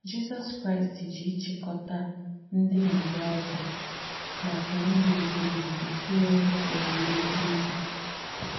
Jísọ̀s Kráīst jì ìchíkọ̀tà ndí m̀mùòdū makà ndú èbìghì èbì tùnyēre òwúwé íhe ùbì.